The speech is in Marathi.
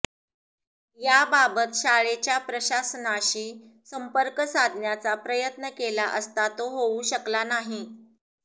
याबाबत शाळेच्या प्रशासनाशी संपर्क साधण्याचा प्रयत्न केला असता तो होऊ शकला नाही